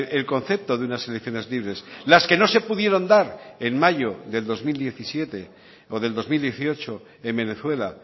el concepto de unas elecciones libres las que no se pudieron dar en mayo del dos mil diecisiete o del dos mil dieciocho en venezuela